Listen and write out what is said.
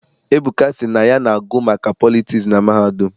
Ebuka sị na ya na-agụ maka politiks na mahadum.